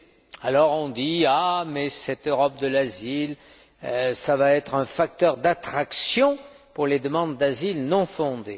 On vous dit Mais cette Europe de l'asile, ça va être un facteur d'attraction pour les demandes d'asile non fondées.